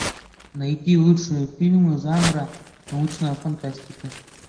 найти лучшие фильмы жанра научная фантастика